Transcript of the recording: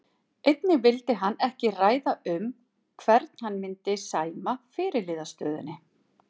Einnig vildi hann ekki ræða um hvern hann myndi sæma fyrirliðastöðunni.